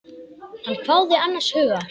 Hann hváði annars hugar.